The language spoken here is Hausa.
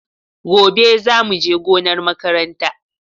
Gobe za mu je gonar makaranta.